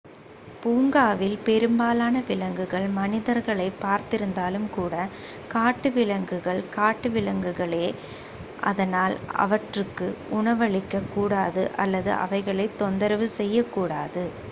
பூங்காவில் பெரும்பாலான விலங்குகள் மனிதர்களை பார்த்திருந்தாலும் கூட காட்டுவிலங்குகள் காட்டுவிலங்குகளே அதனால் அவற்றுக்கு உணவளிக்க கூடாது அல்லது அவைகளை தொந்தரவு செய்யக்கூடாது